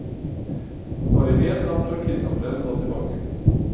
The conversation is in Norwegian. Bare en lapp fra kidnapperen lå tilbake.